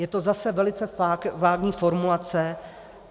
Je to zase velice vágní formulace.